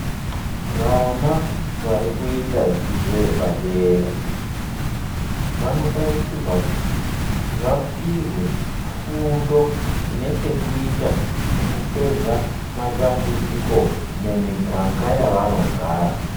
Vana varikuita dzidzo yepadera vanotarisirwa kuti vapihwe fundo inechekuita nekupedza matambudziko mumiganga yavanogara.